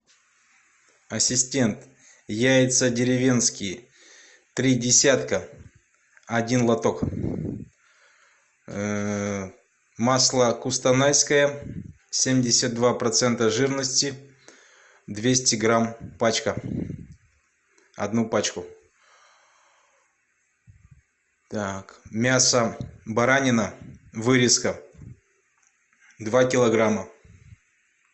ассистент яйца деревенские три десятка один лоток масло кустанайское семьдесят два процента жирности двести грамм пачка одну пачку так мясо баранина вырезка два килограмма